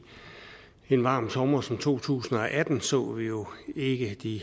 den varme sommer som to tusind og atten så vi jo ikke de